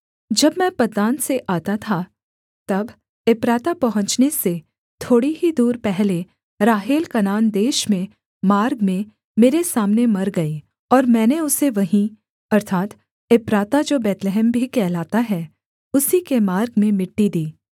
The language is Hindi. जब मैं पद्दान से आता था तब एप्राता पहुँचने से थोड़ी ही दूर पहले राहेल कनान देश में मार्ग में मेरे सामने मर गई और मैंने उसे वहीं अर्थात् एप्राता जो बैतलहम भी कहलाता है उसी के मार्ग में मिट्टी दी